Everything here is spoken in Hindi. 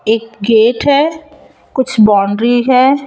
एक गेट है कुछ बाउंड्री है।